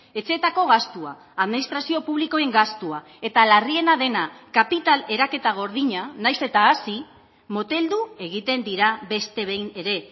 etxeetako gastua administrazio publikoen gastua eta larriena dena kapital eraketa gordina nahiz eta hazi moteldu egiten dira beste behin ere